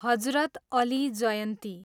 हजरत Ali जयन्ती